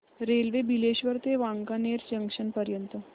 railway Bileshwar ते Wankaner junction पर्यंत